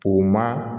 O ma